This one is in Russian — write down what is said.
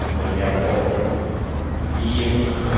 например кобры и